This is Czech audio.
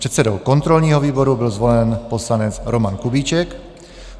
Předsedou kontrolního výboru byl zvolen poslanec Roman Kubíček.